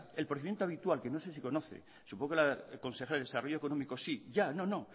el procedimiento habitual que no sé si conoce supongo que la consejera de desarrollo económico sí ya no no